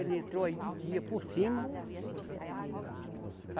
Ele entrou aí de dia por cima.